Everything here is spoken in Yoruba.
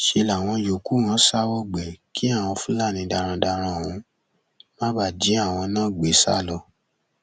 ṣe làwọn yòókù wọn sá wọgbé kí àwọn fúlàní darandaran ọhún má bàa jí àwọn náà gbé sá lọ